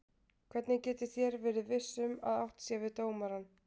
Hvernig getið þér verið viss um að átt sé við dómarann?